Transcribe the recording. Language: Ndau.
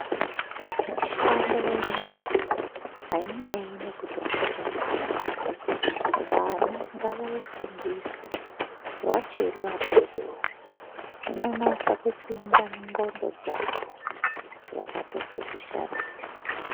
Mishando ye nyara haineneyi kuti wakura kudini vana ngavay ifundiswe vachiri vadoodori zvinonyatso kupinda mu dxondo dzavo vakato dzishandisa.